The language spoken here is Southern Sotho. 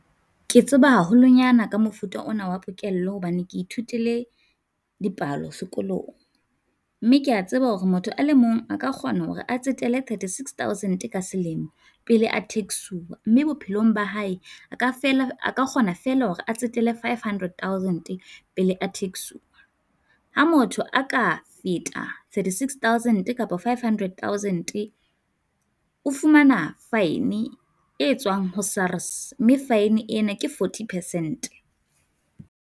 Ke tseba haholonyana ka mofuta ona wa pokello hobane ke ithutile dipalo sekolong. Mme kea tseba hore motho a le mong a ka kgona hore a tsetele thirty-six thousand ka selemo pele a tax-uwa, mme bophelong ba hae a feela a ka kgona feela hore a tsetele five hundred thousand pele a tax-uwa. Ha motho a ka feta thirty-six thousand, kapa five hundred thousand-e, o fumana fine e tswang ho SARS, mme fine ena ke forty percent.